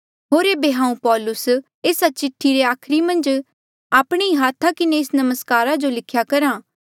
होर ऐबे हांऊँ पौलुस एस्सा चिठ्ठी रे आखरी मन्झ आपणे ही हाथा किन्हें एस नमस्कारा जो लिख्या करहा